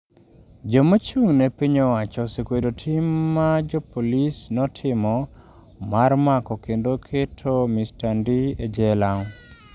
Joma ochung’ ne piny owacho osekwedo tim ma jopolisi notimo mar mako kendo keto Mr Ndii e jela.